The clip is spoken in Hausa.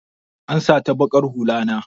An sata baƙar hulla na.